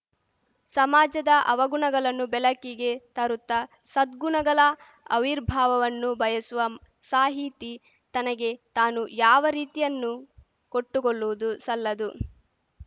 ಸಮಾಜದ ಅವಗುಣಗಲನ್ನು ಬೆಳಕಿಗೆ ತರುತ್ತ ಸದ್ಗುಣಗಳ ಅವಿರ್ಭಾವವನ್ನು ಬಯಸುವ ಸಾಹಿತಿ ತನಗೆ ತಾನು ಯಾವ ರಿಯಾಯಿತಿಯನ್ನೂ ಕೊಟ್ಟುಕೊಲ್ಲುವುದು ಸಲ್ಲದು